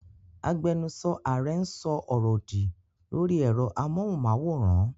Agbẹnusọ Ààrẹ ń sọ ọ̀rọ̀ òdì lórí ẹ̀rọ amóhùnmáwòrán.